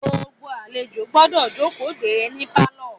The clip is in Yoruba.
Gbogbo àlejò gbọ́dọ̀ jókòó de é ní pálọ̀.